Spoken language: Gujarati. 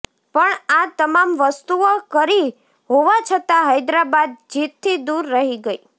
પણ આ તમામ વસ્તુઓ કરી હોવા છતાં હૈદરાબાદ જીતથી દૂર રહી ગઈ